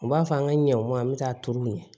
U b'a fɔ an ka ɲɔ an bɛ taa turu u ɲɛ